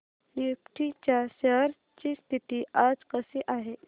Nifty च्या shares ची स्थिती आज कशी आहे